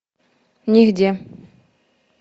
нигде